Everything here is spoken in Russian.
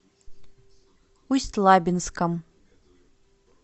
усть лабинском